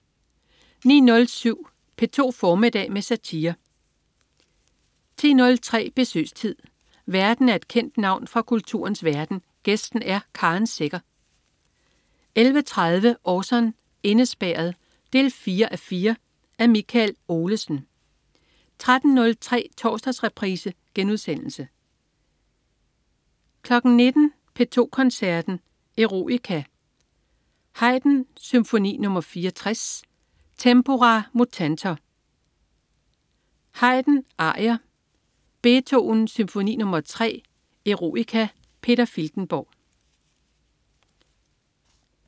09.07 P2 formiddag med satire 10.03 Besøgstid. Værten er et kendt navn fra kulturens verden, gæsten er Karen Secher 11.30 Orson: Indespærret 4:4. Af Michael Olesen 13.03 Torsdagsreprise* 19.00 P2 Koncerten. Eroica. Haydn: Symfoni nr 64, Tempora Mutantor. Haydn: Arier. Beethoven: Symfoni nr. 3, Eroica. Peter Filtenborg